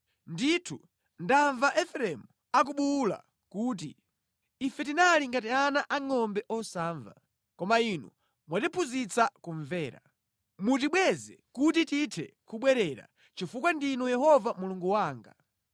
“Ndithu ndamva Efereimu akubuwula kuti, ‘Ife tinali ngati ana angʼombe osamva. Koma inu mwatiphunzitsa kumvera. Mutibweze kuti tithe kubwerera, chifukwa ndinu Yehova Mulungu wanga.